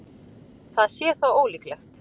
Það sé þó ólíklegt